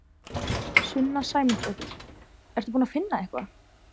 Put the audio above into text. Sunna Sæmundsdóttir: Ertu búin að finna eitthvað?